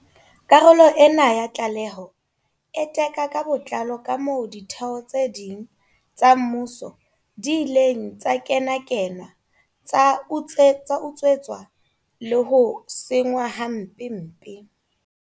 Karolo ena ya tlaleho e teka ka botlalo kamoo ditheo tse ding tsa mmuso di ileng tsa kenakenwa, tsa utswetswa le ho senngwa hampempe.